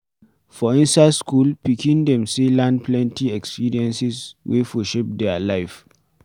For inside school, pikin dem sey learn plenty experiences wey for shape their life